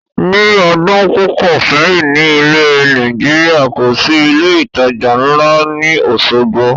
Ni ọdún púpọ̀ sẹ́yìn ni ilẹ̀ Nàìjíríà, kòsi ilé ìtajà ńla ni Osogbo